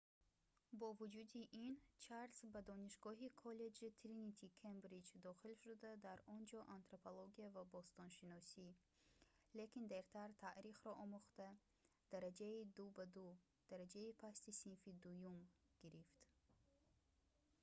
бо вуҷуди ин чарлз ба донишгоҳи коллеҷи тринити кембриҷ дохил шуда дар он ҷо антропология ва бостоншиносӣ лекин дертар таърихро омӯхта дараҷаи 2:2 дараҷаи пасти синфи дуюм гирифт